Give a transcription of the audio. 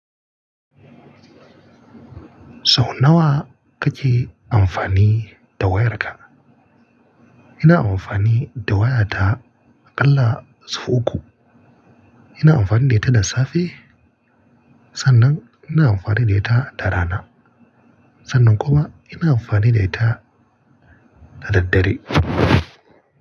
Sau nawa kake amfani da wayarka? Ina amfani da wayata aƙalla sau uku. Ina amfani da ita da safe, sannan ina amfani da ita da rana, sannan kuma ina amfani da ita da daddare.